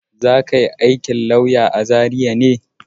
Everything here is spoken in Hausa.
Za ka yi aikin lauya a Zariya?